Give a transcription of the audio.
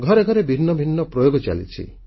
ଘରେ ଘରେ ଭିନ୍ନ ଭିନ୍ନ ପ୍ରୟୋଗ ଚାଲିଛି